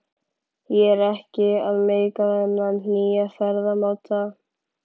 Ég er ekki að meika þennan nýja ferðamáta.